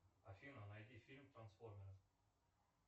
афина найди фильм трансформеры